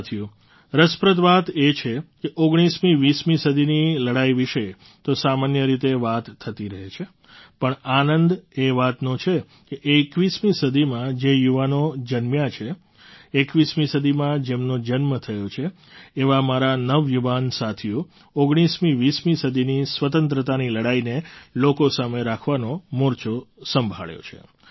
સાથીઓ રસપ્રદ વાત એ છે કે ૧૯મી૨૦મી સદીની લડાઈ વિશે તો સામાન્ય રીતે વાત થતી રહે છે પણ આનંદ એ વાતનો છે કે ૨૧મી સદીમાં જે યુવાનો જન્મ્યા છે ૨૧મી સદીમાં જેમનો જન્મ થયો છે એવા મારા નવયુવાન સાથીઓ ૧૯મી૨૦મી સદીની સ્વતંત્રતાની લડાઈને લોકો સામે રાખવાનો મોરચો સંભાળ્યો છે